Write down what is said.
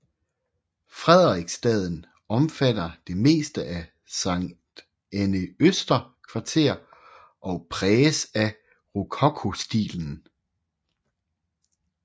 Frederiksstaden omfatter det meste af Sankt Annæ Øster Kvarter og præges af rokokostilen